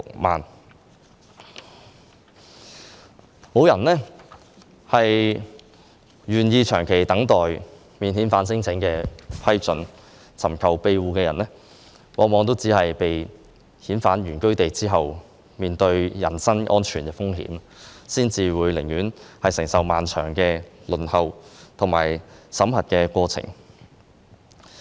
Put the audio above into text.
沒有人願意長期等待免遣返聲請的批准，尋求庇護的人往往被遣返原居地後，會面對人生安全風險，所以他們寧願承受漫長的輪候和審核過程。